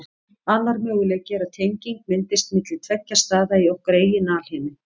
Annar möguleiki er að tenging myndist milli tveggja staða í okkar eigin alheimi.